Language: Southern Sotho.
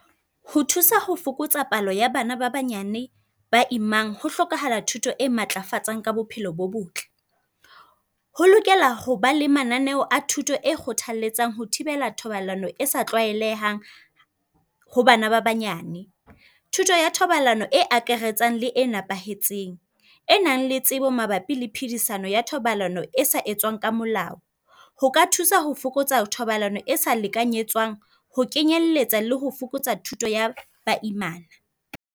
Ho thusa ho fokotsa palo ya bana ba banyane ba imang. Ho hlokahala thuto e matlafatsang ka bophelo bo botle. Ho lokela hoba le mananeo a thuto e kgothalletsang ho thibela thobalano e sa tlwaelehang ho bana ba banyane. Thuto ya thobalano e akaretsang le e nepahetseng, e nang le tsebo mabapi le phidisano ya thobalano e se etswang ka molao. Ho ka thusa ho fokotsa thobalano e sa lekanyetswang ho kenyelletsa le ho fokotsa thuto ya baimana.